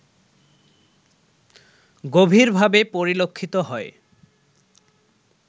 গভীরভাবে পরিলক্ষিত হয়